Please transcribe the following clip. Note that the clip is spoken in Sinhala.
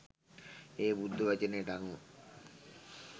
ඒ බුද්ධ වචනයට අනුව